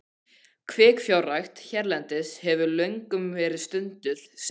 Kvikfjárrækt hérlendis hefur löngum verið stunduð sem rányrkja.